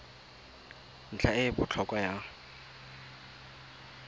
ntlha e e botlhokwa ya